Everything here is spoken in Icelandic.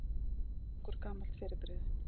Hvað er slangur gamalt fyrirbrigði?